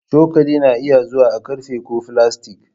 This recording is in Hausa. Cokali na iya zuwa a ƙarfe ko filastik.